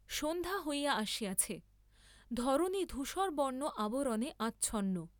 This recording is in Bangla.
সন্ধ্যা হইয়া আসিয়াছে, ধরণী ধূসরবর্ণ আবরণে আচ্ছন্ন।